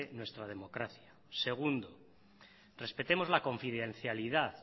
nuestra democracia segundo respetemos la confidencialidad